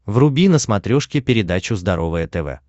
вруби на смотрешке передачу здоровое тв